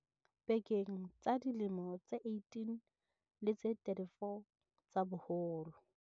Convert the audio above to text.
pekeng tsa dilemo tse 18 le tse 34 tsa boholo.